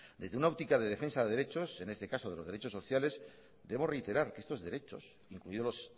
desde una óptica de defensa de derechos en este caso de los derechos sociales debo reiterar que estos derechos incluidos los